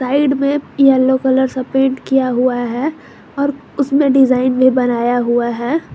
Side में yellow colour से paint किया हुआ है और उसमें डिजाइन में बनाया हुआ है।